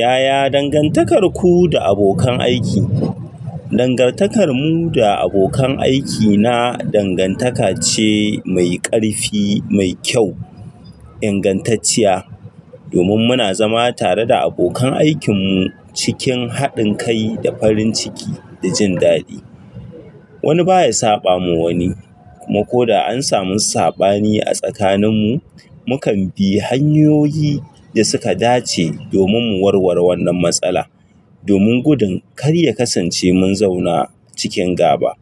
Yaya dangantakarku da abokan aiki? Dangantakar mu da abokan aiki na dangantaka ce mai ƙarfi, mai kyau, ingantacciya. Domin muna zama tare da abokan aikinmu cikin haɗin kai da farin ciki da jin daɗi. Wani baya saɓa ma wani, kuma ko da an samu saɓani a tsakaninmu, mukan bi hanyoyi da suka dace domin mu warware wannan matsala. Domin gudun kar ya kasance mun zauna cikin gaba.